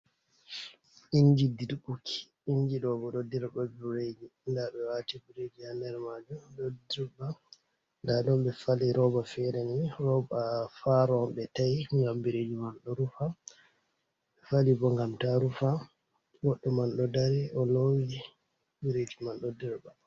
Inji dirbuki inji ɗo bo ɗo dirba biiriiji ndaa ɓe waati biiriiji haa nder maajum, ɗo dirba nda ɗon ɓe fali rooba feere n,i rooba faaro on ɓe ta'i ngam biiriiji man ɗo rufa, ɓe fali bo ngam ta rufa. Goɗɗo man ɗo dari o loowi biiriij man ɗo dirba.